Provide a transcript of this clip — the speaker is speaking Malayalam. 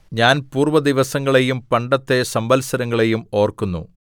ഞാൻ പൂർവ്വദിവസങ്ങളെയും പണ്ടത്തെ സംവത്സരങ്ങളെയും ഓർക്കുന്നു